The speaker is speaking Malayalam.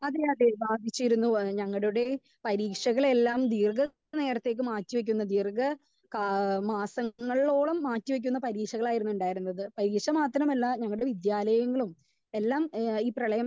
സ്പീക്കർ 2 അതെ അതെ ബാധിച്ചിരുന്നു. ഏഹ് ഞങ്ങളുടെ പരീക്ഷകളെല്ലാം ദീർഘ നേരത്തേക്ക് മാറ്റി വെച്ചിരുന്നു ദീർഘ കാല മാസങ്ങളോളം മാറ്റി വെച്ചിരുന്ന പരീക്ഷകളായിരുന്നു ഉണ്ടായിരുന്നത്. പരീക്ഷ മാത്രമല്ല നമ്മുടെ വിദ്യാലയങ്ങളേയും എല്ലാം ഏഹ് ഈ പ്രളയം